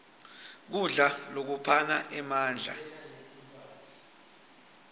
kudla lokuphana emandla